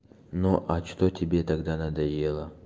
ну а что тебе тогда надоело